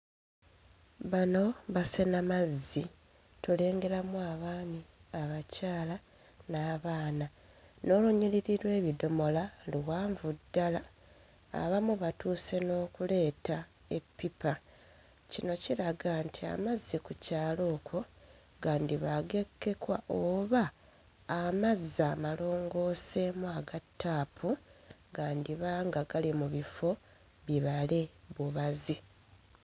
Bano basena mazzi tulengeramu abaami, abakyala n'abaana. N'olunyiriri lw'ebidomola luwanvu ddala, abamu batuuse n'okuleeta eppipa. Kino kiraga nti amazzi ku kyalo ekyo gandiba ag'ekkekwa oba amazzi amalongooseemu aga ttaapu gandiba nga gali mu bifo bibale bubazi.